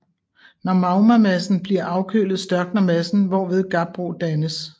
Når magmamassen bliver afkølet størkner massen hvorved gabbro dannes